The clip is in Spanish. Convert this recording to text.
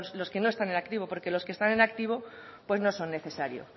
los que no están en activo porque los que están en activo pues no son necesarios